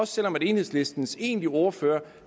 selv om enhedslistens egentlige ordfører